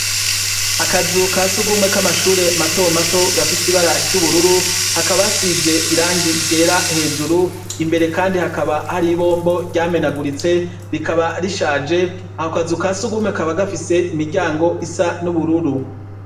Akazu kasugume kamashure mato gafise ibara ryubururu hakaba hasize irangi ryera hejuru imbere kandi hakaba hariho ibombo ryamenaguritse rikaba rishaje ako kazu kasugume kakaba gafise imiryango isa nubururu